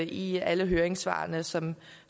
i alle høringssvarene som